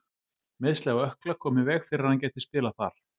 Meiðsli á ökkla komu í veg fyrir að hann gæti spilað þar.